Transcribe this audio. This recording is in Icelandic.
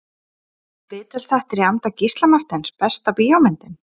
Viðtalsþættir í anda Gísla Marteins Besta bíómyndin?